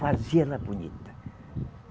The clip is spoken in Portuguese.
Fazia ela bonita.